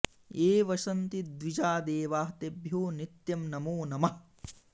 ये वसन्ति द्विजा देवाः तेभ्यो नित्यं नमो नमः